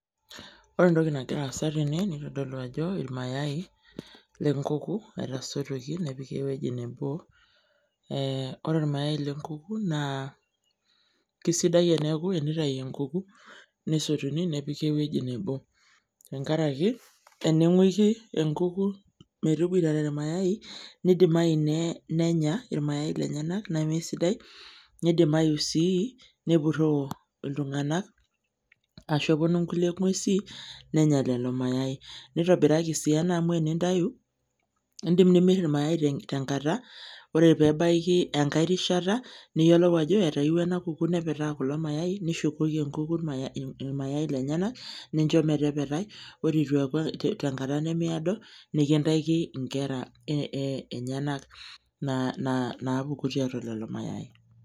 Ore entoki nagira aasa tene, nitodolu ajo irmayai lenkuku etasotuoki nepiki ewueji nebo. Ore ormayai lenkuku naa kesidai eneeku enitayu enkuku nesotuni nepiki ewueji. Tenkaraki, ening'uiki enkuku metoboitare irmayai, nidimayu nenya irmayai lenyanak nemesidai, nidimayu si nepurroo iltung'anak ashu eponu nkulie ng'uesi nenya lelo mayai. Nitobiraki si ena amu enintayu, idim nimir irmayai tenkata, ore pebaiki enkae rishata, niyiolou ajo etayieua ena kuku nepetaa kulo mayai, nishukoki enkuku irmayai lenyanak, nincho metepetai, ore itu eeku tenkata nemeedo, nikintaki inkera enyanak napuku tiatua lelo mayai.